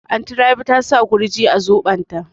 Anty Rabi ta sa Gurji a zobon ta